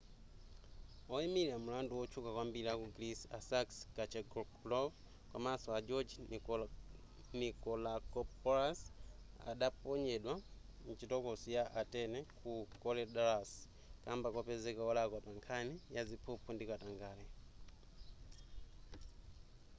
woyimira milandu wotchuka kwambiri aku greece a sakis kechagioglou komanso a george nikolakopoulos adaponyedwa mchitokosi ya atene ku korydallus kamba kopezeka wolakwa pankhani ya ziphuphu ndi katangale